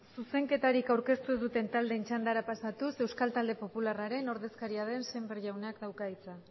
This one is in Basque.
zuzenketarik aurkeztu ez duten taldeen txandara pasatuz euskal talde popularraren ordezkaria den sémper jaunak dauka hitza